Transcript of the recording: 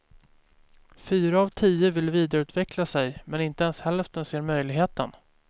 Fyra av tio vill vidareutveckla sig, men inte ens hälften ser möjligheten.